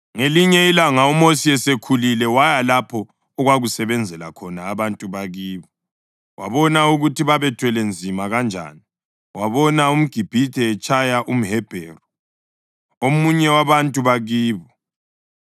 Ngelinye ilanga, uMosi esekhulile, waya lapho okwakusebenzela khona abantu bakibo, wabona ukuthi babethwele nzima kanjani. Wabona umGibhithe etshaya umHebheru, omunye wabantu bakibo.